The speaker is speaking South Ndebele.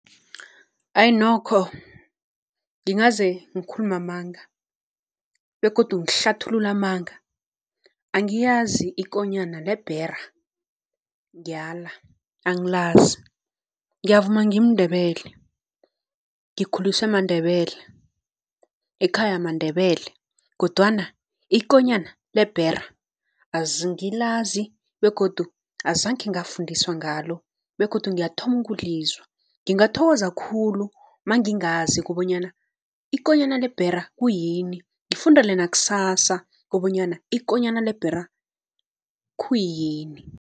Ayi nokho ngingaze ngikhulume amanga begodu ngihlathulule amanga angiyazi ikonyana lebhera, ngiyala angilazi. Ngiyavuma ngimNdebele ngikhuliswe maNdebele, ekhaya maNdebele kodwana ikonyana lebhera angilazi begodu azangkhe ngafundiswa ngalo begodu ngiyathoma ukulizwa. Ngingathokoza khulu mangingazi kobonyana ikonyana lebhera kuyini, ngifundele nakusasa kobonyana ikonyana lebhera khuyini.